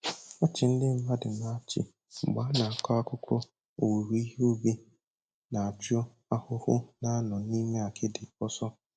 Ọchị ndị mmadụ na-achị mgbe a na-akọ akụkọ owuwe ihe ubi na-achụ ahụhụ na-anọ n'ime akịdị ọsọ